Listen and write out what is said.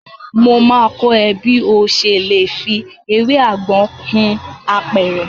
Mo máa kọ́ ẹ bí ọ ṣe lè fi ewé àgbọn hun apẹ̀rẹ̀.